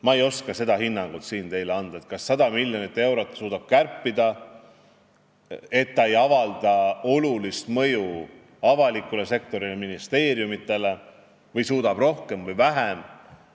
Ma ei oska teile siin anda hinnangut, kas 100 miljonit eurot saaks nii kärpida, et see ei avaldaks olulist mõju avalikule sektorile, ministeeriumitele, või saaks kärpida rohkem või vähem.